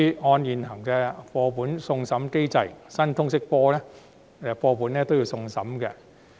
按照現行的課本送審機制，新通識科課本亦會送審。